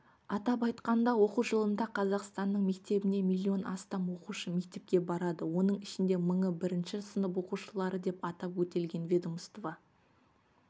атап айтқанда оқу жылында қазақстанның мектебіне миллион астам оқушы мектепке барады оның ішінде мыңы бірінші сынып оқушылары деп атап өтілген ведомство